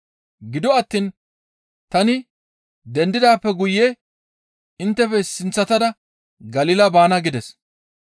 Gido attiin tani dendidaappe guye inttefe sinththatada Galila baana» gides.